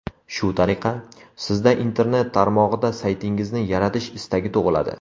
Shu tariqa, sizda internet tarmog‘ida saytingizni yaratish istagi tug‘iladi.